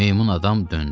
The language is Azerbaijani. Meymun adam döndü.